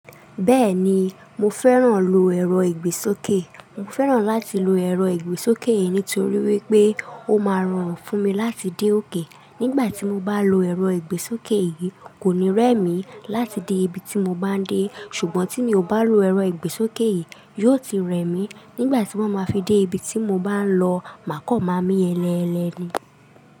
Bẹ́ẹ̀ni, mo fẹ́ràn lo ẹ̀rọ ìgbésókè. Mo fẹ́ràn láti lo ẹ̀rọ ìgbésókè yìí nítorí wípé ó máa ràn fún mi láti dé òkè. Nígbàtí mo bá lo ẹ̀rọ ìgbésókè yìí, kò ní rẹ mí láti dé ibi tí mo bá ń dé. Ṣùgbọ́n tí mi ò bá lo ẹ̀rọ ìgbésókè yìí, yóò ti rẹ mí nígbàtí mo máa fi dé ibi tí mo bá ń lọ mákọ̀ máa mí ẹlẹ́ ẹlẹ́ ni.